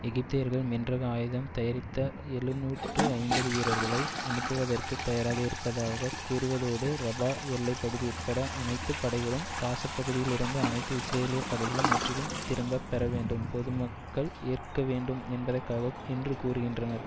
எகிப்தியர்கள் மென்ரக ஆயுதம் தரித்த எழுநூற்று ஐம்பது வீரர்களை அனுப்புவதற்குத் தயாராக இருப்பதாக கூறுவதோடு ரபா எல்லை பகுதி உட்பட அனைத்து படைகளும் காசுப்பகுதியில் இருந்து அனைத்து இஸ்ரேலிய படைகளும் முற்றிலும் திருப்பப் பெறவேண்டும் பொது மக்கள் ஏற்கவேண்டும் என்பதற்காக என்று கூறுகின்றனர்